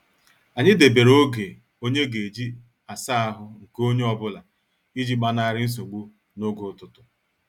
Anyị debere oge onye ga-eji asaa ahụ nke onye ọ bụla iji gbanari nsogbu n' oge ụtụtụ.